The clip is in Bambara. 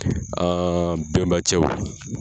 An bɛnba cɛw